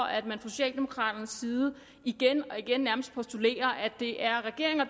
at man fra socialdemokraternes side igen og igen nærmest postulerer at det er regeringen og